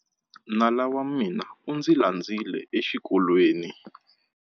Nala wa mina u ndzi landzile exikolweni.